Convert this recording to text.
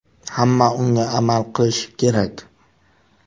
Hamma unga amal qilishi kerak.